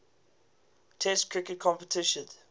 test cricket competitions